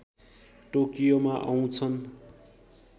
टोकियोमा आउँछन्